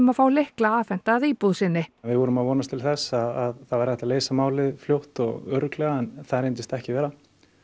að fá lykla afhenta að íbúð sinni við vorum að vonast til þess að það væri hægt að leysa málið fljótt og örugglega en það reyndist ekki vera